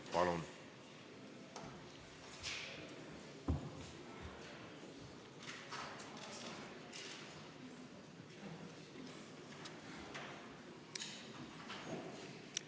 Palun!